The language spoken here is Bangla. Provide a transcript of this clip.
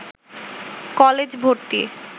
কলেজ ভর্তি